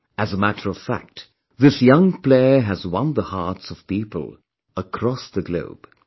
As a matter of fact, this young player has won the hearts of people across the globe